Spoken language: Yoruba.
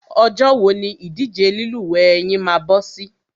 Ọjọ́ wo ni ìdíje lílúwẹ̀ẹ́ yín máa bọ́ sí?